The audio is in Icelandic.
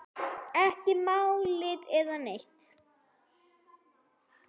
Ekki málning eða neitt.